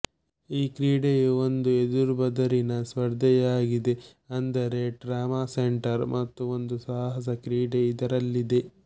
ಈ ಕ್ರೀಡೆಯು ಒಂದು ಎದುರು ಬದರಿನ ಸ್ಪರ್ಧೆಯಾಗಿದೆಅಂದರೆ ಟ್ರಾಮಾ ಸೆಂಟರ್ ಮತ್ತು ಒಂದು ಸಾಹಸ ಕ್ರೀಡೆ ಇದರಲ್ಲಿದೆ